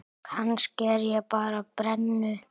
Kannski er ég bara brennu